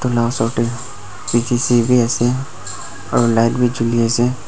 toi lah osor teh P_T_C bhi ase aru light bhi juli ase.